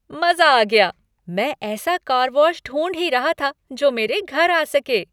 मज़ा आ गया! मैं ऐसा कार वॉश ढूंढ ही रहा था जो मेरे घर आ सके।